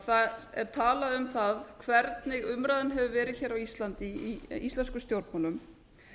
það er talað um það hvernig umræðan hefur verið hér á íslandi í íslenskum stjórnmálum